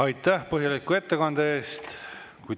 Aitäh põhjaliku ettekande eest!